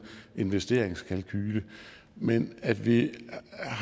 investeringskalkule men at vi